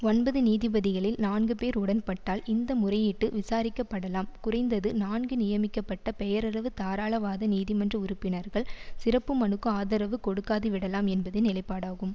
ஒன்பது நீதிபதிகளில் நான்கு பேர் உடன்பட்டால் இந்த முறையீட்டு விசாரிக்கப்படலாம் குறைந்தது நான்கு நியமிக்கப்பட்ட பெயரளவு தாராளவாத நீதிமன்ற உறுப்பினர்கள் சிறப்பு மனுக்கு ஆதரவு கொடுக்காதுவிடலாம் என்பதே நிலைப்பாடாகும்